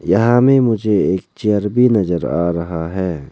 यहां में मुझे एक चेयर भी नजर आ रहा है।